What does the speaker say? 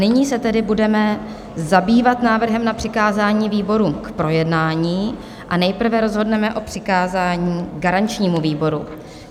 Nyní se tedy budeme zabývat návrhem na přikázání výborům k projednání a nejprve rozhodneme o přikázání garančnímu výboru.